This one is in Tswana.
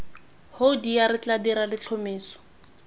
hoodia re tla dira letlhomeso